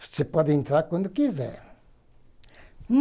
Você pode entrar quando quiser.